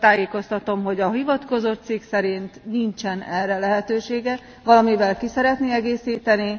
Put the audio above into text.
Tájékoztatom, hogy a hivatkozott cikk szerint nincsen erre lehetősége. Valamivel ki szeretné egészíteni?